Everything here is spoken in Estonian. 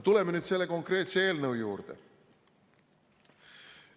Tuleme nüüd selle konkreetse eelnõu juurde.